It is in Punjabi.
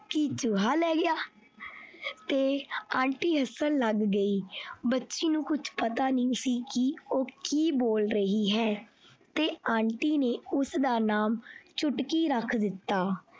ਕੀ ਚੂਹਾ ਲੈ ਗਿਆ ਤੇ aunty ਹੱਸਣ ਲੱਗ ਗਈ ਬੱਚੀ ਨੂੰ ਕੁਛ ਪਤਾ ਨਹੀਂ ਸੀ ਕਿ ਉਹ ਕੀ ਬੋਲ ਰਹੀ ਹੈ ਤੇ aunty ਨੇ ਉਸਦਾ ਨਾਮ ਚੁਟਕੀ ਰੱਖ ਦਿੱਤਾ।